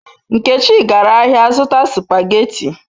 Nkechi gara ahia zuta supageti